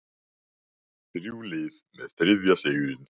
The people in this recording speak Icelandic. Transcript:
Þrjú lið með þriðja sigurinn